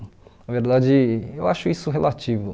Na verdade, eu acho isso relativo.